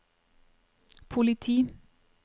politi